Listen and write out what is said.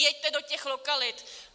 Jeďte do těch lokalit!